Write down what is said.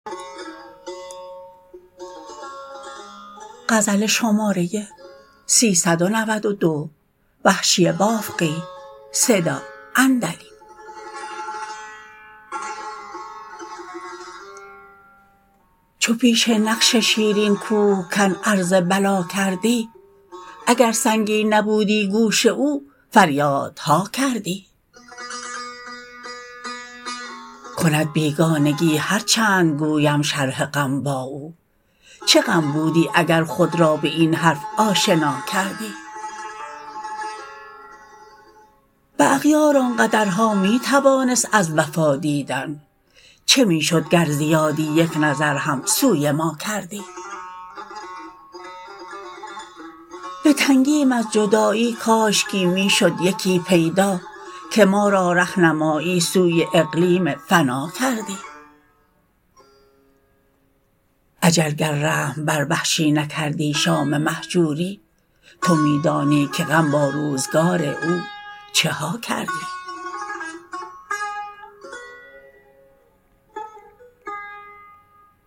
چو پیش نقش شیرین کوهکن عرض بلا کردی اگر سنگین نبودی گوش او فریادها کردی کند بیگانگی هر چند گویم شرح غم با او چه غم بودی اگر خود را به این حرف آشنا کردی به اغیار آنقدرها می توانست از وفا دیدن چه می شد گر زیادی یک نظر هم سوی ما کردی به تنگیم از جدایی کاشکی می شد یکی پیدا که ما را رهنمایی سوی اقلیم فنا کردی اجل گر رحم بر وحشی نکردی شام مهجوری تو می دانی که غم با روزگار او چها کردی